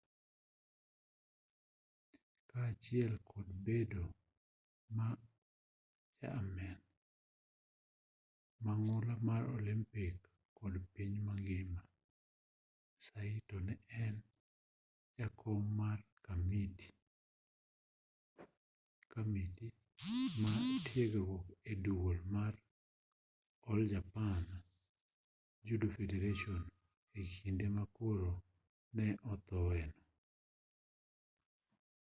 kaachiel kod bedo ja amen mang'ula mar olympic kod piny mangima saito ne en jakom mar kamiti mar tiegruok e duol mar all japan judo federation e kinde ma koro ne othoe no